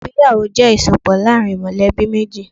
Ìgbéyàwó jẹ́ ìsopọ̀ láàrin mọ̀lẹ́bí méjì.